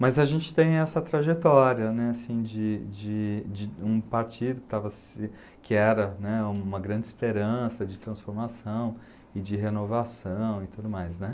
Mas a gente tem essa trajetória né, assim de de de um partido que estava se que era né, uma grande esperança de transformação e de renovação e tudo mais, né.